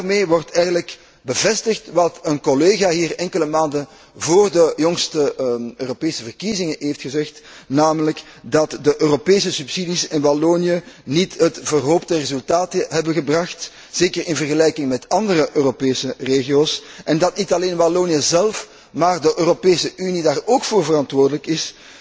Daarmee wordt eigenlijk bevestigd wat een collega hier enkele maanden vóór de jongste Europese verkiezingen heeft gezegd, namelijk dat de Europese subsidies in Wallonië niet het verhoopte resultaat hebben gebracht, zeker in vergelijking met andere Europese regio's, en dat niet alleen Wallonië zelf, maar de Europese Unie daarvoor verantwoordelijk is,